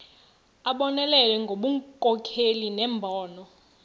abonelele ngobunkokheli nembono